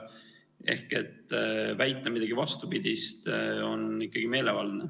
Ehk väita vastupidist on meelevaldne.